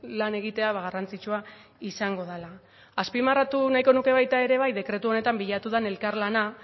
lan egitea garrantzitsua izango dela azpimarratu nahiko nuke baita ere bai dekretu honetan bilatu den elkarlana